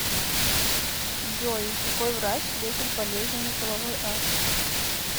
джой какой врач лечит болезненный половой акт